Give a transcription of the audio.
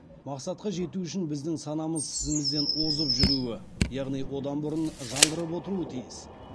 мақсатқа жету үшін біздің санамыз ісімізден озып жүруі яғни одан бұрын жаңғырып отыруы тиіс